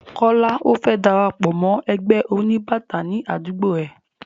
Kọ́lá ò fẹ́ darapọ̀ mọ́ ẹgbẹ́ oníbàtà ní àdúgbó ẹ.